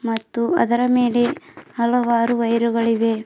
ಮತ್ತು ಅದರ ಮೇಲೆ ಹಲವಾರು ವೈರುಗಳು ಇವೆ.